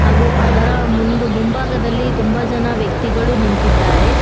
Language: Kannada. ಹಾಗೂ ಅದರ ಮುಂದು ಮುಂಭಾಗದಲ್ಲಿ ತುಂಬಾ ಜನ ವ್ಯಕ್ತಿಗಳು ನಿಂತಿದ್ದಾರೆ.